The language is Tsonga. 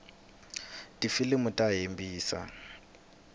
tifilimu ta hembisa